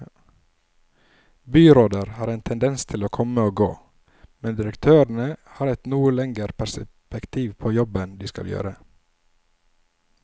Byråder har en tendens til å komme og gå, men direktørene har et noe lengre perspektiv på den jobben de skal gjøre.